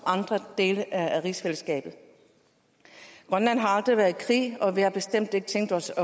andre dele af rigsfællesskabet grønland har aldrig været i krig og vi har bestemt ikke tænkt os